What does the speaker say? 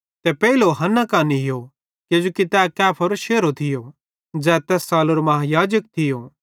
ते पेइलो हन्ना कां नीयो किजोकि तै कैफारो शेरहो थियो ज़ै तैस सालेरो महायाजक थियो